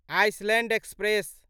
Island express